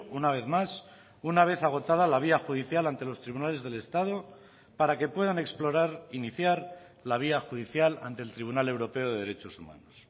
una vez más una vez agotada la vía judicial ante los tribunales del estado para que puedan explorar iniciar la vía judicial ante el tribunal europeo de derechos humanos